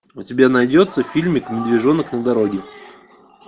у тебя найдется фильмик медвежонок на дороге